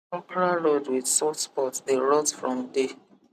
okra rod with soft spot dey rot from day